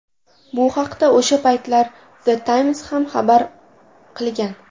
Bu haqda o‘sha paytlar The Times ham xabar qilgan.